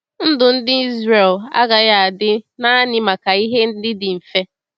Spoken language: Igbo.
Ndụ ndị Izrel agaghị adị naanị maka ihe ndị dị mfe.